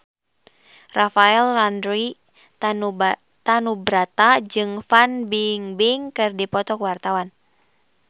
Rafael Landry Tanubrata jeung Fan Bingbing keur dipoto ku wartawan